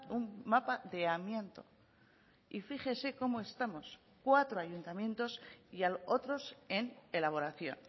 un mapa de amianto y fíjese cómo estamos cuatro ayuntamientos y otros en elaboración